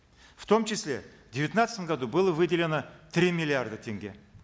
в том числе в девятнадцатом году было выделено три миллиарда тенге